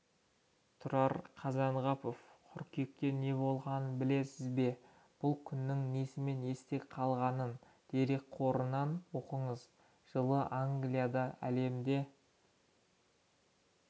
тұрар қазанғапов қыркүйекте неболғанын білесіз бе бұл күннің несімен есте қалғанын дерекқорынан оқыңыз жылы англияда әлемде